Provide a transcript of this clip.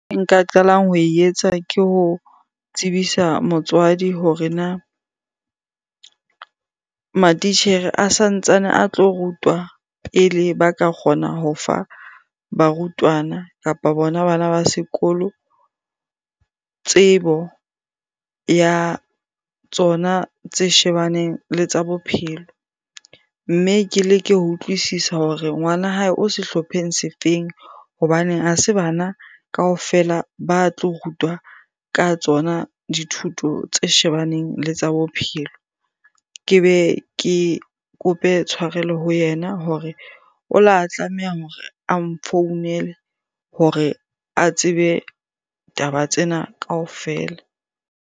Nka qalang ho etsa ke ho tsebisa motswadi hore na matitjhere a santsane a tlo rutwa pele ba ka kgona ho fa barutwana kapa bona bana ba sekolo tsebo ya tsona tse shebaneng le tsa bophelo. Mme ke leke ho utlwisisa hore ngwana hae o sehlopheng se feng? Hobane ha se bana kaofela ba tlo rutwa ka tsona dithuto tse shebaneng le tsa bophelo. Ke be ke kope tshwarelo ho yena hore o la tlameha hore a nfounele hore a tsebe taba tsena kaofela.